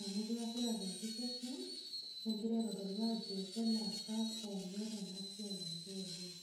Amu keesita tenkisosion, negira aitodolu ajo, keloosak onyor enasiai enche oleng.